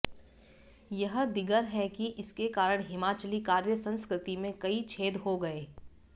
यह दीगर है कि इसके कारण हिमाचली कार्य संस्कृति में कई छेद हो गए